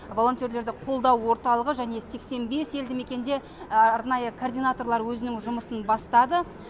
волонтерлерді қолдау орталығы және сексен бес елді мекенде арнайы координаторлар өзінің жұмысын бастады